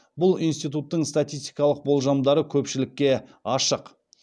бұл институттың статистикалық болжамдары көпшілікке ашық